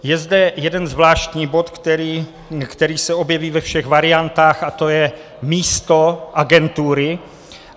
Je zde jeden zvláštní bod, který se objeví ve všech variantách, a to je místo agentury.